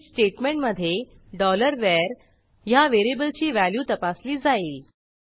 switch स्टेटमेंटमधे var ह्या व्हेरिएबलची व्हॅल्यू तपासली जाईल